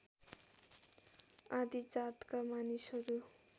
आदि जातका मानिसहरू